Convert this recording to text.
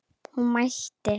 Hún mælti: